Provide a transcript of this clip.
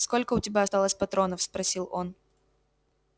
сколько у тебя осталось патронов спросил он